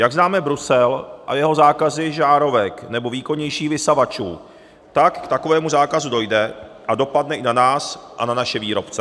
Jak známe Brusel a jeho zákazy žárovek nebo výkonnějších vysavačů, tak k takovému zákazu dojde a dopadne i na nás a na naše výrobce.